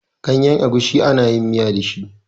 Ganyen agushi ana miya da shi.